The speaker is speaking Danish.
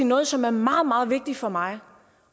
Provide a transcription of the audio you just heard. noget som er meget meget vigtigt for mig